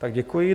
Tak děkuji.